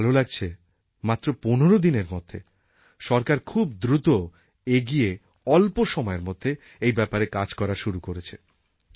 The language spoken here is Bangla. আমার ভাল লাগছে মাত্র পনের দিনের মধ্যে সরকার খুব দ্রুত এগিয়ে অল্প সময়ের মধ্যে এই ব্যাপারে কাজ করা শুরু করেছে